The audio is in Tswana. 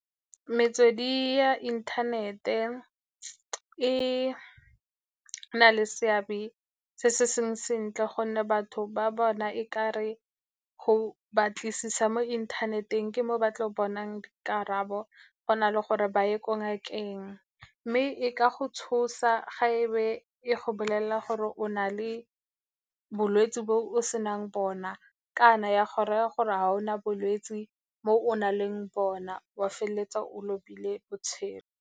Metswedi ya inthanete e na le seabe se se seng sentle gonne batho ba bona e kare go batlisisa mo inthaneteng ke mo ba tlo bonang dikarabo, go na le gore ba ye ko ngakeng, mme e ka go tshosa, ga e be e go bolelela gore o na le bolwetse bo o senang bona, kana ya go raya gore ga o na bolwetse mo o na leng bona, wa feleletsa o lobile botshelo.